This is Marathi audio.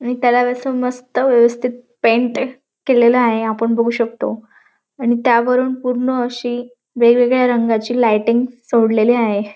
त्याला बी अस मस्त व्यवस्थित पेंट एक केलेल आहे आपण बघू शकतो आणि त्यावरून पूर्ण अशी वेगवेगळ्या रंगाची लायटिंग सोडलेली आहे.